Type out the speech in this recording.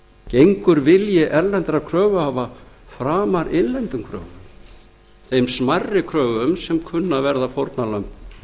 gengur vilji erlendra kröfuhafa framar erlendum kröfum þeim smærri kröfum sem kunna að verða fórnarlömb